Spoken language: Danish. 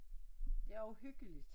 Det er også hyggeligt